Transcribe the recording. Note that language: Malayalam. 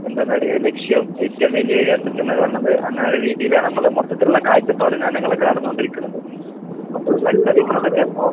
എന്തെന്ന് പറയാം ലക്ഷ്യോം ഏറ്റോം വല്യൊരു അസറ്റ്ന്നൊക്കെ പറയണത് അങ്ങനൊരു രീതീലാണമ്മളെ മൊത്തത്തിലിള്ള കാഴ്ചപ്പാടും ഒക്കെ നടന്നോണ്ടിരിക്കണത്. അപ്പൊ മത്സരിക്കണതൊക്കെ ഇപ്പൊ